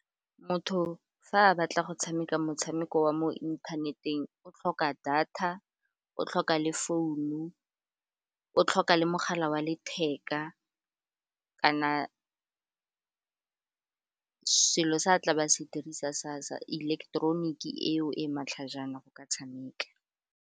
Motho fa a batla go tshameka motshameko wa mo inthaneteng, o tlhoka data, o tlhoka le founu, o tlhoka le mogala wa letheka kana selo se tla ba se dirisa sa ileketeroniki eo e matlhajana go ka tshameka.